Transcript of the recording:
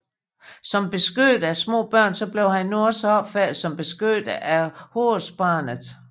Som beskytter af små børn blev han nu også opfattet som beskytter af Horusbarnet